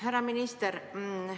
Härra minister!